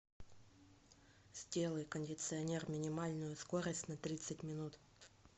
сделай кондиционер минимальную скорость на тридцать минут